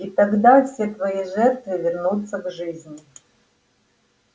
и тогда все твои жертвы вернутся к жизни